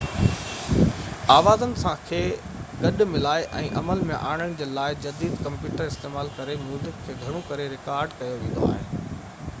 آوازن کي گڏ ملائي ۽ عمل ۾ آڻڻ جي لاءِ جديد ڪمپيوٽر استعمال ڪري ميوزڪ کي گهڻو ڪري رڪارڊ ڪيو ويندو آهي